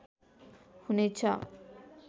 हुने छ